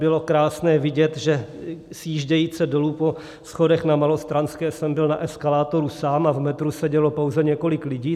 Bylo krásné vidět, že sjížděje dolů po schodech na Malostranské jsem byl na eskalátoru sám a v metru sedělo pouze několik lidí.